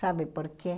Sabe por quê?